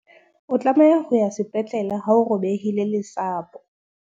o tlameha ho ya sepetlele ha o robehile lesapo